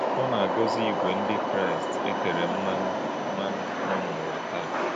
Ọ́ na - àgò̄zí̄ ìgwè̄ Ndị́ Kraịst e tè̄rè̄ mmánụ̄ mmánụ̄ nọ̄ n’ụ̀wà tàà.